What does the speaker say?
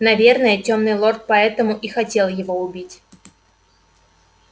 наверное тёмный лорд потому и хотел его убить